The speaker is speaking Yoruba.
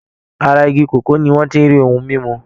Ara igi kòkó ni wọ́n ti ń rí ohun mímú.